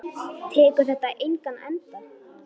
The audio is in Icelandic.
Tekur þetta engan enda?